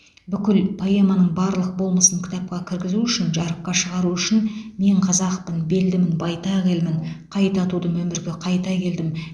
бүкіл поэманың барлық болмысын кітапқа кіргізу үшін жарыққа шығару үшін мен қазақпын белдімін байтақ елмін қайта тудым өмірге қайта келдім